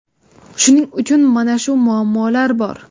Shuning uchun mana shu muammolar bor.